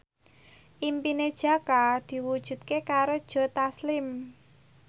impine Jaka diwujudke karo Joe Taslim